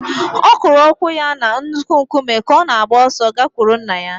Ọ kụrụ ụkwụ ya na nnukwu nkume ka ọ na-agba ọsọ gakwuru nna ya